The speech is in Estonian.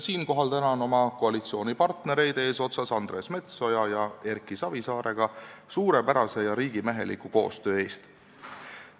Siinkohal tänan oma koalitsioonipartnereid eesotsas Andres Metsoja ja Erki Savisaarega suurepärase ja riigimeheliku koostöö eest!